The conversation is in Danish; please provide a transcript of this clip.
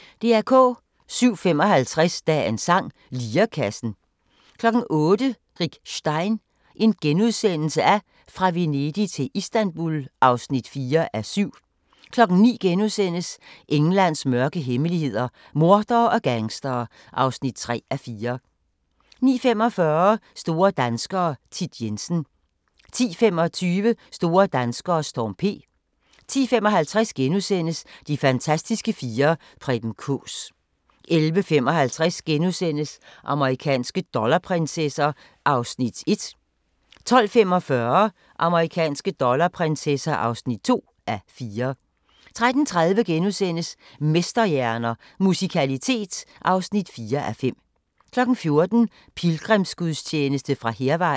07:55: Dagens sang: Lirekassen 08:00: Rick Stein: Fra Venedig til Istanbul (4:7)* 09:00: Englands mørke hemmeligheder – mordere og gangstere (3:4)* 09:45: Store danskere - Thit Jensen 10:25: Store danskere: Storm P 10:55: De fantastiske fire: Preben Kaas * 11:55: Amerikanske dollarprinsesser (1:4)* 12:45: Amerikanske dollarprinsesser (2:4) 13:30: Mesterhjerner – Musikalitet (4:5)* 14:00: Pilgrimsgudstjeneste fra Hærvejen